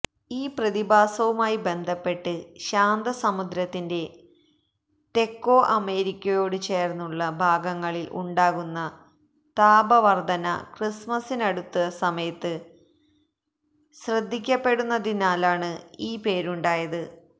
ഈ പ്രതിഭാസവുമായി ബന്ധപ്പെട്ട് ശാന്തസമുദ്രത്തിന്റെ തെക്കോ അമേരിക്കയോടു ചേര്ന്നുള്ള ഭാഗങ്ങളില് ഉണ്ടാകുന്ന താപവര്ദ്ധന ക്രിസ്മസിനടുത്ത സമയത്ത് ശ്രദ്ധിക്കപ്പെടുന്നതിനാലാണ് ഈ പേരുണ്ടായത്